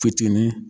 Fitinin